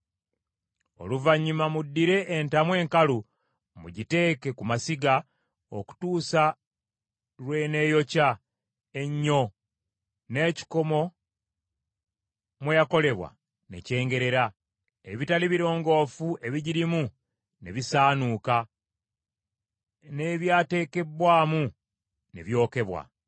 Oluvannyuma muddire entamu enkalu mugiteeke ku masiga, okutuusa lw’eneeyokya ennyo n’ekikomo mwe yakolebwa ne kyengerera, ebitali birongoofu ebigirimu ne bisaanuuka, n’ebyateekebbwamu ne byokebwa.